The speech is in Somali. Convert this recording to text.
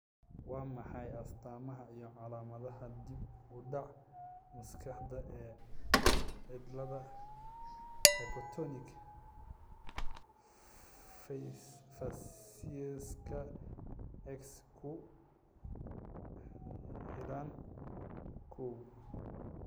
Waa maxay astaamaha iyo calaamadaha dib u dhac maskaxeed ee cillada hypotonic facieska X ku xidhan, kow?